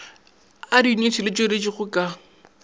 a diyuniti di tšweleditšwego ka